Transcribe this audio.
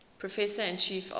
professor and chief of